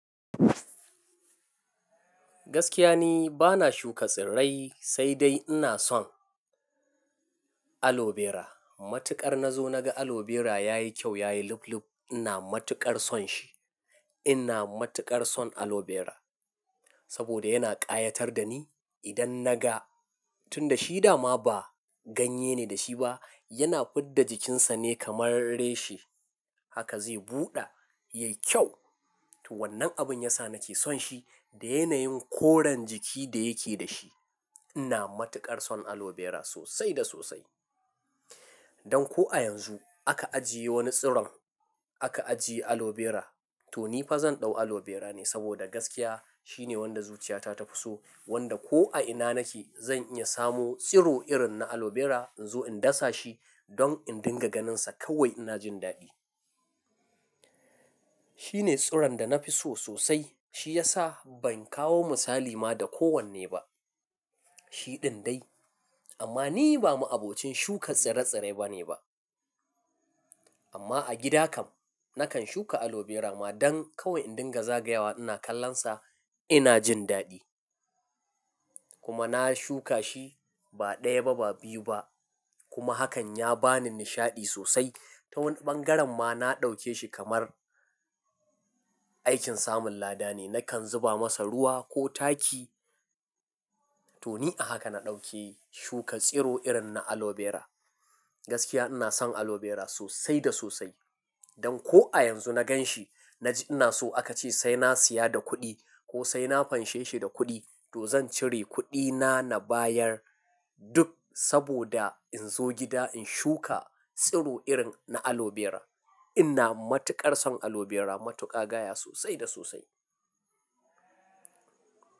Gaskiya ni bana shuka tsirrai sai dai ina son aloe vera. Matuƙar nazo naga aloe vera yayi kyau, yayi lub lub. Ina matuƙar son shi. Ina matuƙar son aloe vera sabida yana ƙayatar dani idan naga tunda shi dama ba ganye ne da shi ba, yana fidda jikinsa ne kamar reshe. Haka zai buɗa, yayi kyau. To wannan abun yasa nake son shi da yanayin koren jiki da yake da shi. Ina matuƙar son aloe vera sosai da sosai. Dan ko a yanzu aka ajiye wani tsiron, aka ajiye aloe vera, to ni fa zan ɗau aloe vera ne sabida gaskiya shine wanda zuciyata ta fi so. Wanda ko a ina nake zan iya samo tsiro irin na aloe vera in zo in dasa shi don in dinga ganinsa kawai ina jin daɗi. Shine tsiron da nafi so sosai. Shi yasa ban kawo misali ma da kowanne ba. Shi ɗin dai. Amma ni ba ma'abocin shukan tsire-tsire bane ba. Amma a gida kam nakan shuka aloe vera ma dan kawai in dinga zagayawa ina kallonsa ina jin daɗi. Kuma na shuka shi ba ɗaya ba ba biyu ba. Kuma hakan ya bani nishaɗi sosai. Ta wani ɓangaren ma na ɗauke shi kamar aikin samun lada ne. Nakan zuba masa ruwa ko taki. To ni a haka na ɗauke shuka tsiro irin na aloe vera. Gaskiya ina son aloe vera sosai da sosai. Dan ko a yanzu na gan shi, naji ina so aka ce sai na saya da kuɗi ko sai na fanshe shi da kuɗi to zan cire kuɗina na bayar duk saboda in zo gida in shuka tsiro irin na aloe vera. Ina matuƙar son aloe vera matuƙa gaya sosai da sosai.